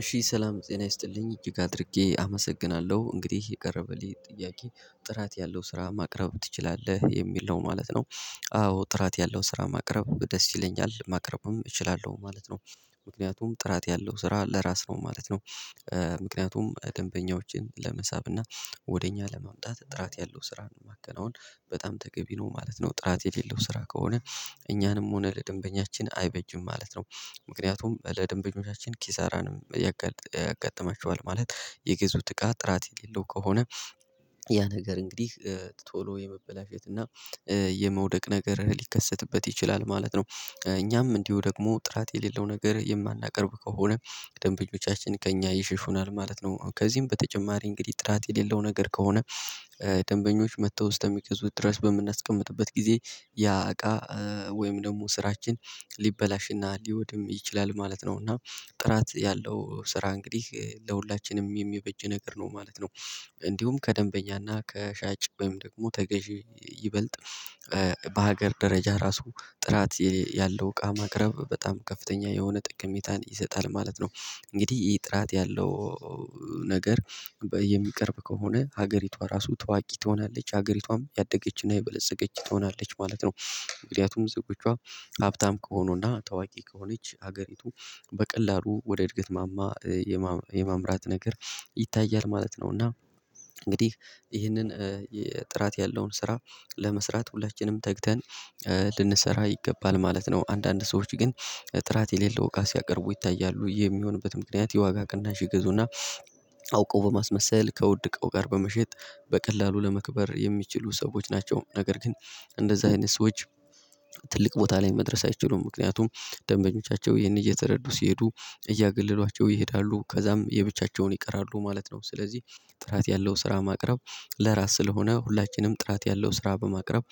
እሺ ሰላም ጤና ይስጥልኝ እጅግ አድርጌ አመሰግናለሁ። እንግዲህ የቀረበልኝ ጥያቄ "ጥራት ያለው ስራ ማቅረብ ትችላለህ?" የሚል ነው ማለት ነው። አዎ ጥራት ያለው ስራ ማቅረብ ደስ ይለኛል ማቅረብም እችላለሁ ማለት ነው። ምክንያቱም ጥራት ያለው ስራ ለራስ ነው ማለት ነው። ምክንያቱም ደንበኞችን ለመሳብ እና ወደ እኛ ለማምጣት ጥራት ያለው ስራ ነው ማከናውን በጣም ተገቢ ነው ማለት ነው። ጥራት የሌለው ስራ ከሆነ እኛንም ሆነ ለደንበኛችን አይበጅም ማለት ነው። ምክንያቱም ለደንበኞቻችን ኪሳራንም ያጋ ያጋጥመችዋል ማለት የገዙት እቃ ጥራት የሌለው ከሆነ ያ ነገር እንግዲህ ቶሎ የመበላሸት እና የመውደቅ ነገር ሊከሰትበት ይችላል ማለት ነው። እኛም እንዲሁ ደግሞ ጥራት የሌለው ነገር የማናቀርብ ከሆነ ደንበኞቻችን ከእኛ ይሸሹናል ማለት ነው። ከዚህም በተጨማሪ እንግዲህ ጥራት የሌለው ነገር ከሆነ ደንበኞች መጥተው እስተሚገዙት ድረስ በምናስቀምጥበት ጊዜ ያ እቃ ወይም ደግሞ ስራችን ሊበላሽና ሊወድም ይችላል ማለት ነው፤ እና ጥራት ያለው ስራ እንግዲህ ለሁላችንም የሚበጅ ነገር ነው ማለት ነው። እንዲሁም ከደንበኛና ከሻጭ ወይም ደግሞ ተገዢ ይበልጥ በሀገር ደረጃ ራሱ ጥራት ያለው እቃ ማቅረብ በጣም ከፍተኛ የሆነ ጠቅሜታን ይሰጣል ማለት ነው። እንግዲህ ይሄ ጥራት ያለው ነገር በ የሚቀርብ ከሆነ ሀገሪቷ ራሱ ታዋቂ ትሆናለች ሀገሪቷም ያደገችና የበለፀገች ትሆናለች ማለት ነው። ምክንያቱም ዜጎቿ ሀብታም ከሆኑና ታዋቂ ከሆነች ሀገሪቱ በቀላሉ ወደ እድገት ማማ የማም የማምራት ነገር ይታያል ማለት ነው እና እንግዲህ ይህንን ጥራት ያለውን ስራ ለመስራት ሁላችንም ተግተን ልንሰራ ይገባል ማለት ነው። አንዳንድ ሰዎች ግን ጥራት የሌለው እቃ ሲያቀርቡ ይታያሉ። ይህ የሚሆንበት ምክንያት የዋጋ ቅናሽ ይገዙና አውቀው በማስመሰል ከውድ እቃው ጋር በመሸጥ በቀላሉ ለመክበር የሚችሉ ሰዎች ናቸው፤ ነገር ግን እንደዚህ አይነት ሰዎች ትልቅ ቦታ ላይ መድረስ አይችሉም። ምክንያቱም ደንበኞቻቸው ይሄን እየተረዱ ሲሄዱ እያገለሏቸው ይሄዳሉ ከዛም የብቻቸውን ይቀራሉ ማለት ነው። ስለዚህ ጥራት ያለው ስራ ማቅረብ ለራስ ስለሆነ ሁላችንም ጥራት ያለው ስራ በማቅረብ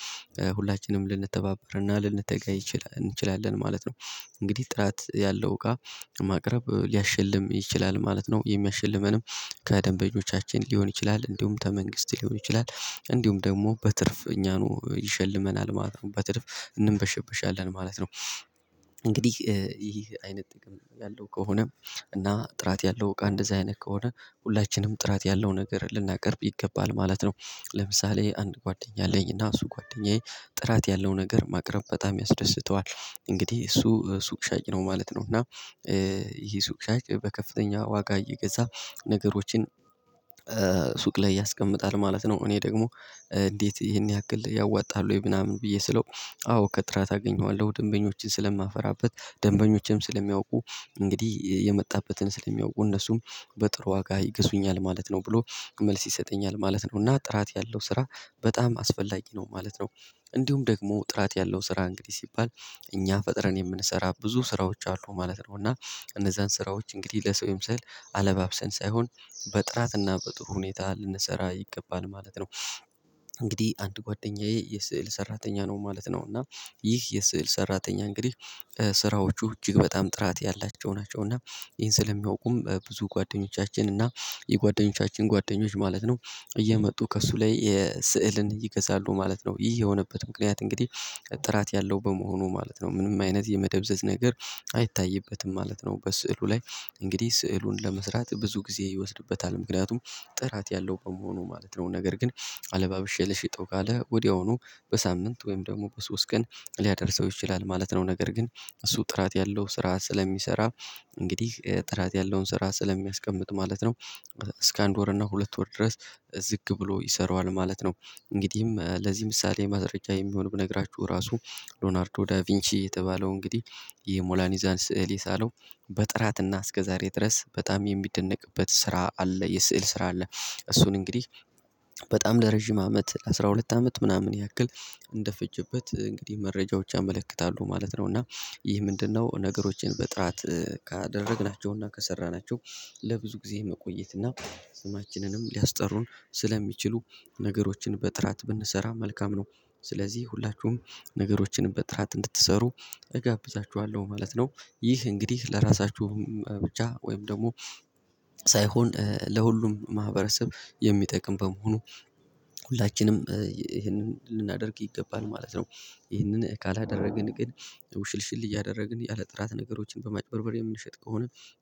ሁላችንም ልንተባበርና ልንተጋ ይች እንችላለን ማለት ነው። እንግዲህ ጥራት ያለው እቃ ማቅረብ ሊያሸልም ይችላል ማለት ነው። የሚያሽልመንም ከደንበኞቻችን ሊሆን ይችላል፣ እንዲሁም ተመንግስት ሊሆን ይችላል፣ እንዲሁም ደግሞ በትርፍ እኛኑ ይሸልመናል ማለት ነው። በትርፍ እንንበሸብሻለን ማለት ነው። እንግዲህ ይህ አይነት ጥቅም ያለው ከሆነ እና ጥራት ያለው እቃ እንደዚህ አይነት ከሆነ ሁላችንም ጥራት ያለው ነገር ልናቀርብ ይገባል ማለት ነው። ለምሳሌ አንድ ጓደኛ አለኝና እሱ ጓደኛዬ ጥራት ያለው ነገር ማቅረብ በጣም ያስደስተዋል። እንግዲህ እሱ ሱቅ ሻጭ ነው ማለት ነው እና ይሄ ሱቅ ሻጭ በከፍተኛ ዋጋ እየገዛ ነገሮችን ሱቅ ላይ ያስቀምጣል ማለት ነው። እኔ ደግሞ እንዴት ይሄን ያክል ያዋጣል ወይ ምናምን ብዬ ስለው አዎ ከጥራት አገኘዋለሁ ደንበኞችን ስለማፍራበት ደንበኞችንም ስለሚያውቁ እንግዲህ የመጣበትን ስለሚያውቁ እነሱም በጥሩ ዋጋ ይገዙኛል ማለት ነው ብሎ መልስ ይሰጠኛል ማለት ነው፤ እና ጥራት ያለው ስራ በጣም አስፈላጊ ነው ማለት ነው። እንዲሁም ደግሞ ጥራት ያለው ስራ እንግዲህ ሲባል እኛ ፈጥረን የምንሰራ ብዙ ስራዎች አሉ ማለት ነው፤ እና እነዛን ስራዎች እንግዲህ ለሰው ይመስል አለባብሰን ሳይሆን በጥራትና በጥሩ ሁኔታ ልንሰራ ይገባል ማለት ነው። እንግዲህ አንድ ጓደኛዬ የስዕል ሰራተኛ ነው ማለት ነው፤ እና ይህ የስዕል ሰራተኛ እንግዲህ ስራዎቹ እጅግ በጣም ጥራት ያላቸው ናቸው እና ይሄን ስለሚያውቁም ብዙ ጓደኞቻችን እና የጓደኞቻችን ጓደኞች ማለት ነው እየመጡ ከእሱ ላይ የ ስዕልን ይገዛሉ ማለት ነው። ይህ የሆነበት ምክንያት እንግዲህ ጥራት ያለው በመሆኑ ማለት ነው ምንም አይነት የመደብዘዝ ነገር አይታይበትም ማለት ነው በስዕሉ ላይ እንግዲህ ስዕሉን ለመስራት ብዙ ጊዜ ይወስድበታል። ምክንያቱም ጥራት ያለው በመሆኑ ማለት ነው፤ ነገር ግን አለባብሼ ልሽጠው ካለ ወዲያውኑ በሳምንት ወይም ደግሞ በሶስት ቀን ሊያደርሰው ይችላል ማለት ነው፤ ነገር ግን እሱ ጥራት ያለው ስራ ስለሚሰራ እንግዲህ ጥራት ያለውን ስራ ስለሚያስቀምጥ ማለት ነው እስከ አንድ ወር እና ሁለት ወር ድረስ ዝግ ብሎ ይሰራዋል ማለት ነው። እንግዲህም ለዚህ ምሳሌ ማስረጃ የሚሆን ብነግራችሁ ራሱ ሎናርዶ ዳቪንቺ የተባለው እንግዲህ የሞላኒዛን ስዕል የሳለው በጥራትና እስከዛሬ ድረስ በጣም የሚደነቅበት ስራ አለ የስዕል ስራ አለ እሱን እንግዲህ በጣም ለረጅም አመት አስራ ሁለት አመት ምናምን ያክል እንደፈጀበት እንግዲህ መረጃዎች ያመለክታሉ ማለት ነው፤ እና ይህ ምንድነው ነገሮችን በጥራት ካደረግናቸው እና ከሰራናቸው ለብዙ ጊዜ መቆየት እና ስማችንንም ሊያስጠሩን ስለሚችሉ ነገሮችን በጥራት ብንሰራ መልካም ነው። ስለዚህ ሁላችሁም ነገሮችን በጥራት እንድትሰሩ እጋብዛችኋለሁ ማለት ነው። ይህ እንግዲህ ለራሳችሁ ብቻ ወይም ደግሞ ሳይሆን ለሁሉም ማህበረሰብ የሚጠቅም በመሆኑ ሁላችንም ይሄንን ልናደርግ ይገባል ማለት ነው። ይሄንን ካላደረግን ግን ውሽልሽል እያደረግን ያለ ጥራት ነገሮችን በማጭበርበር የምንሸጥ ከሆነ